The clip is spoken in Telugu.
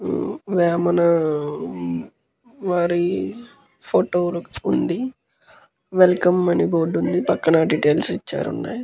వేమన వారి ఫోటో ఉంది వెల్కం అని బోర్డు ఉంది పక్కన డీటైల్స్ ఇచ్చారు ఉన్నాయ్.